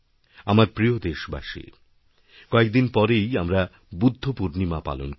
আমার প্রিয় দেশবাসী কয়েকদিন পরেই আমরা বুদ্ধপূর্ণিমা পালনকরব